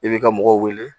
I b'i ka mɔgɔ wele